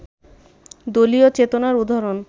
দলীয় চেতনার উদাহরণ